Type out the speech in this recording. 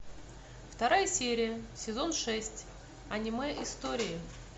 вторая серия сезон шесть аниме истории